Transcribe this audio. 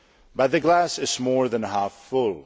But the glass is more than half full.